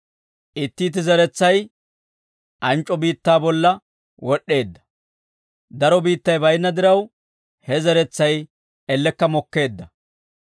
Itti itti zeretsay anc'c'o biittaa bolla wod'd'eedda; daro biittay baynna diraw, he zeretsay ellekka mokkeedda.